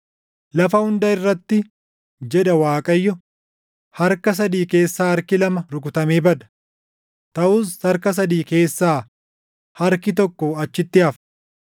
Lafa hunda irratti” jedha Waaqayyo, “Harka sadii keessaa harki lama rukutamee bada; taʼus harka sadii keessaa harki tokko achitti hafa.